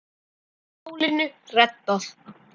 Málinu reddað.